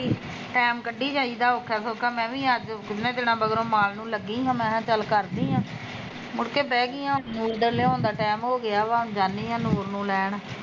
time ਕੱਢੀ ਜਾਈਦਾ ਔਖਾ ਸੌਖਾ ਮੈ ਵੀ ਅੱਜ ਕਿਨੇ ਦਿਨ ਮਗਰੋਂ ਮਾਲ ਨੂ ਲੱਗੀ ਸੀ ਮੈ ਕਿਹਾਂ ਚੱਲ ਕਰਦੀ ਆ ਮੁੜ ਕੇ ਬਹਿ ਗਈ ਆ ਨੂਰ ਦੇ ਲਿਆਉਣ ਦਾ ਟੈਮ ਹੋਗਿਆ ਵਾ ਤੇ ਹੁਣ ਜਾਂਦੀ ਆ ਨੂਰ ਨੂੰ ਲੈਣ